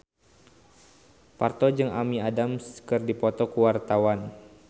Parto jeung Amy Adams keur dipoto ku wartawan